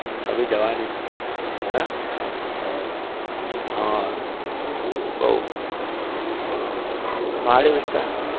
अभी જવાની હે? હા બહુ પહાડી વિસ્તાર